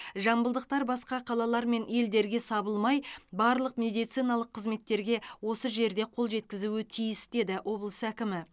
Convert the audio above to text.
жамбылдықтар басқа қалалар мен елдерге сабылмай барлық медициналық қызметтерге осы жерде қол жеткізуі тиіс деді облыс әкімі